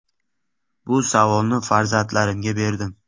Bu savolni farzandlarimga berdim.